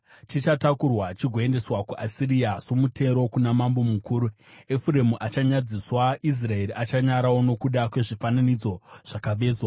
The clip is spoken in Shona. Chichatakurwa chigoendeswa kuAsiria somutero kuna mambo mukuru. Efuremu achanyadziswa; Israeri achanyarawo nokuda kwezvifananidzo zvakavezwa.